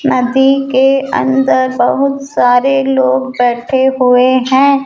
नदी के अन्दर बहुत सारे लोग बैठे हुए हैं।